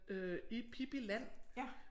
Øh i Pippi land